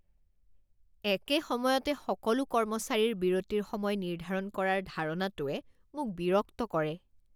একে সময়তে সকলো কৰ্মচাৰীৰ বিৰতিৰ সময় নিৰ্ধাৰণ কৰাৰ ধাৰণাটোৱে মোক বিৰক্ত কৰে।